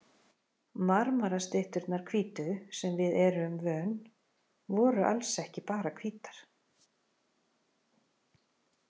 Marmarastytturnar hvítu, sem við erum vön, voru alls ekki bara hvítar.